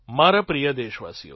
મારા પ્રિય દેશવાસીઓ